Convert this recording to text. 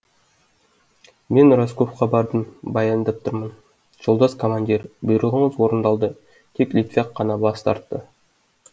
мен расковаға бардым баяндап тұрмын жолдас командир бұйрығыңыз орындалды тек литвяк қана бас тартты